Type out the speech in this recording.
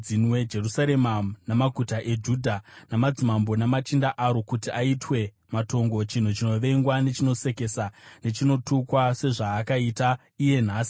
Jerusarema namaguta eJudha, namadzimambo, namachinda aro, kuti aitwe matongo, chinhu chinovengwa nechinosekesa, nechinotukwa, sezvaakaita iye nhasi;